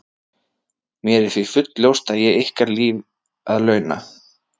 Mér er því fullljóst að ég á ykkur líf að launa.